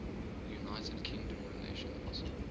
united kingdom relations